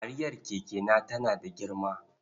Kariyar kekena tana da girma.